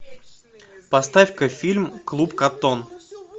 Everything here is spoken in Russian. поставь ка фильм клуб коттон